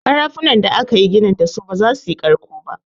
Ƙarafunan da akayi ginin dasu ba za su yi ƙarƙo ba.